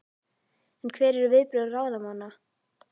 En hver eru viðbrögð ráðamanna?